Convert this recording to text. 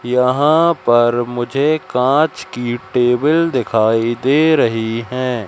यहां पर मुझे कांच की टेबिल दिखाई दे रही है।